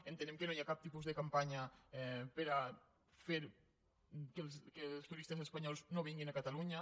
entenem que no hi ha cap tipus de campanya per a fer que els turistes espanyols no vinguin a catalunya